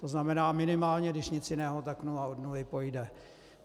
To znamená minimálně když nic jiného, tak nula od nuly pojde.